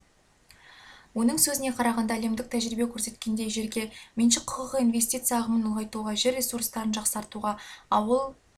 оның сөзіне қарағанда әлемдік тәжірибе көрсеткендей жерге меншік құқығы инвестиция ағымын ұлғайтуға жер ресурстарын жақсартуға ауыл